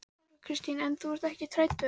Þóra Kristín: En þú ert ekkert hræddur?